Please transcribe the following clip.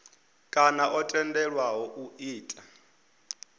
kana o tendelwaho u ita